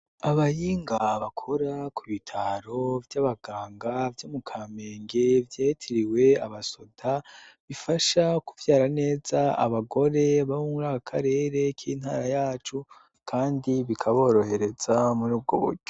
Abahinga bakora ku bitaro vy'abaganga vyo mu kamenge vyitiriwe abasoda bifasha kuvyara neza abagore bo muri aka karere k'intara yacu kandi bikaborohereza muri bwo buryo.